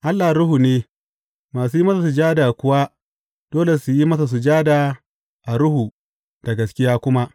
Allah ruhu ne, masu yi masa sujada kuwa dole su yi masa sujada a ruhu, da gaskiya kuma.